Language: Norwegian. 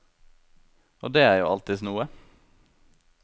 Og det er jo alltids noe.